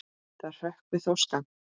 Það hrökkvi þó skammt.